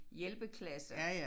Hjælpeklasser